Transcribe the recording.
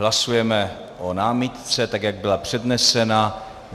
Hlasujeme o námitce, tak jak byla přednesena.